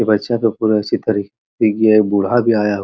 बूढ़ा भी आया --